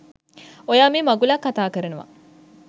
ඔයා මේ මගුලක් කතා කරනවා.